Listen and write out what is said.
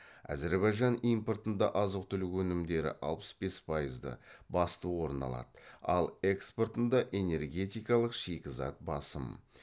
әзірбайжан импортында азық түлік өнімдері басты орын алады ал экспортында энергетикалық шикізат басым